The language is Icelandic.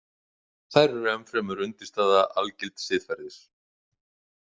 Þær eru enn fremur undirstaða algilds siðferðis.